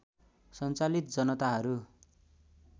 सञ्चालित जनताहरू